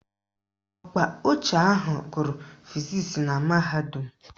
Ọkpa ọchị ahụ gụrụ fizisi na mahadum